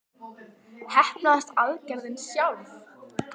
Heppnaðist aðgerðin sjálf?